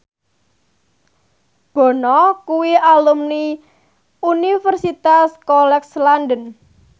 Bono kuwi alumni Universitas College London